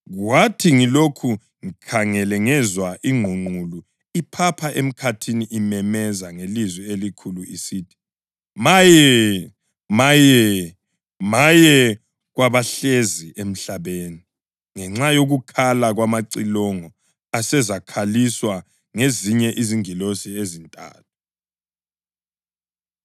Kwathi ngilokhu ngikhangele ngezwa ingqungqulu iphapha emkhathini imemeza ngelizwi elikhulu isithi, “Maye! Maye! Maye kwabahlezi emhlabeni ngenxa yokukhala kwamacilongo asezakhaliswa ngezinye izingilosi ezintathu!”